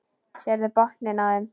Sérðu botninn á þeim.